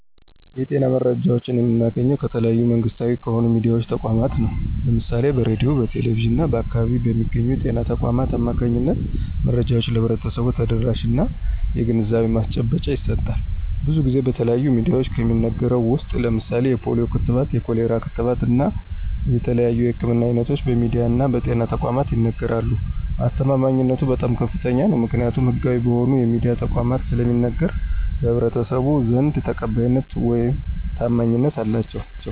የጤና መረጃዎችን የምናገኘው ከተለያዩ መንግስታዊ ከሆኑ የሚድያ ተቋማት ነው። ለምሳሌ በሬድዮ፣ በቴሌቪዥን እና በአካባቢው በሚገኙ በጤና ተቋማት አማካኝነት መረጃዎች ለህብረተሰቡ ተደራሽነት እና የግንዛቤ ማስጨበጫ ይሰጣል። ብዙን ጊዜ በተለያዩ ሚድያዎች ከሚነገረው ውስጥ ለምሳሌ የፖሊዮ ክትባት፣ የኮሌራ ክትባት እና የተለያዩ የህክምና አይነቶች በሚድያ እና በጤና ተቋማት ይነገራሉ። አስተማማኝነቱ በጣም ከፍተኛ ነው። ምክኒያቱም ህጋዊ በሆኑ የሚድያ ተቋማት ስለሚነገር በህብረተሰቡ ዘንድ ተቀባይነት ውይም ታማኝነት አላቸው።